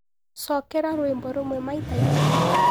cokera rwĩmbo rũmwe maĩtaĩkumĩ